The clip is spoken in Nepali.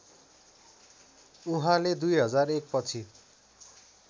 उहाँले २००१ पछि